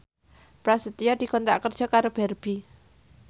Prasetyo dikontrak kerja karo Barbie